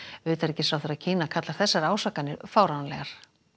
utanríkisráðherra Kína kallar þessar ásakanir fáránlegar